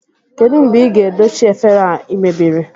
Kedụ mgbe ị ga-edochi efere a ị mebiri?